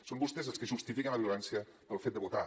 són vostès els que justifiquen la violència pel fet de votar